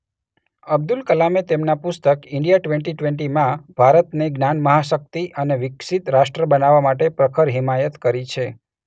અબ્દુલ કલામે તેમના પુસ્તક 'ઇન્ડિયા ટ્વેન્ટીટ્વેન્ટી'માં ભારતને જ્ઞાન-મહાશક્તિ અને વિકસિત રાષ્ટ્ર બનાવવા માટે પ્રખર હિમાયત કરી છે.